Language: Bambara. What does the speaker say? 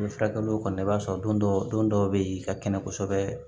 I bɛ furakɛliw kɔni i b'a sɔrɔ don dɔ don dɔw bɛ yen ka kɛnɛ kosɛbɛ